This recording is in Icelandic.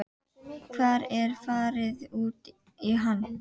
Hvar er farið út í hann?